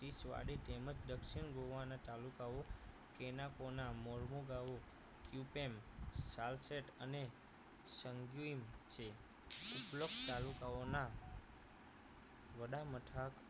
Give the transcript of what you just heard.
પિચવાડી તેમજ દક્ષિણ ગોવા ના તાલુકાઓ કેનાકોના મોર્મોગાવો ક્યુપેમ સાલ્સેટ અને સંગ્યુઈમ છે ઉપરોક્ત તાલુકાઓના વડા મથક